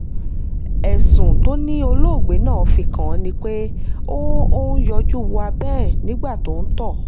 ẹ̀sùn tó ní olóògbé náà fi kàn án ni pé ó ó ń yọjú wo abẹ́ ẹ̀ nígbà tó ń tọ́